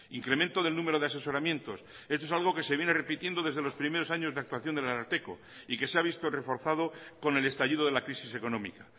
incremento del número de asesoramientos esto es algo que se viene repitiendo desde los primeros años de actuación del ararteko y que se ha visto reforzado con el estallido de la crisis económica